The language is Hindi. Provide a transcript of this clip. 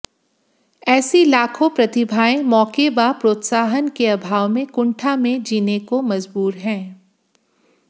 ऐसी लाखों प्रतिभाएं मौके व प्रोत्साहन के अभाव में कुंठा में जीने को मजबूर हैं